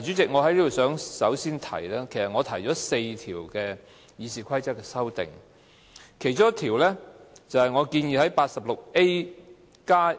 主席，我首先想說，我提出4項有關《議事規則》的修訂，其中一項是加入第 86A 條，